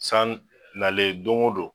San nalen don o don